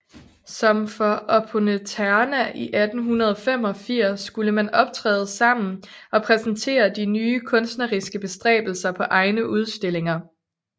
Som for Opponenterna i 1885 skulle man optræde sammen og præsentere de nye kunstneriske bestræbelser på egne udstillinger